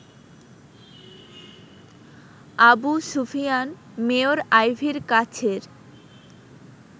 Abu Sufian mayor আইভীর কাছের